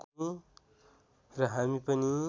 र हामी पनि